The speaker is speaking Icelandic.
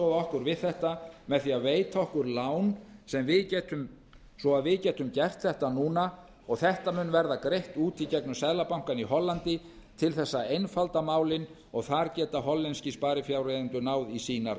aðstoða okkur við þetta með því að veita okkur lán svo að við getum gert þetta núna og þetta mun verða greitt út á í gegnum seðlabankann í hollandi til þess að einfalda málin og þar geta hollenskir sparifjáreigendur náð í sínar